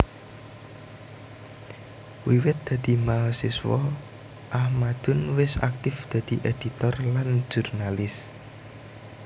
Wiwit dadi mahasiswa Ahmadun wis aktif dadi éditor lan jurnalis